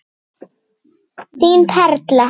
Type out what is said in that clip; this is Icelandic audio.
Þín Perla.